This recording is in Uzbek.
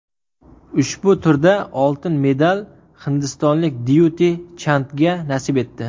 Ushbu turda oltin medal hindistonlik Dyuti Chandga nasib etdi.